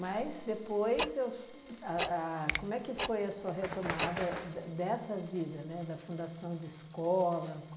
Mas, depois, eu so a a como é que foi a sua retomada de dessa vida, né, da fundação de escola?